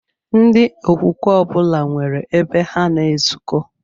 Ndị okwukwe ọbụla nwere ebe ha na-ezuko